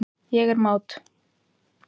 Ég er mát.